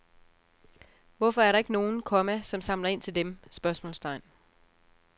Hvorfor er der ikke nogen, komma som samler ind til dem? spørgsmålstegn